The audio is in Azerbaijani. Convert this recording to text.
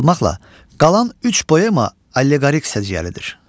Çıxılmaqla qalan üç poema alleqorik səciyyəlidir.